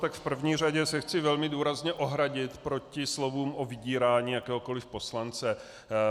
Tak v první řadě se chci velmi důrazně ohradit proti slovům o vydírání jakéhokoliv poslance.